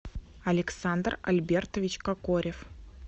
александр альбертович кокорев